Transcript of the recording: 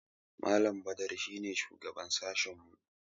Malam Badaru shi ne shugaban sashinmu.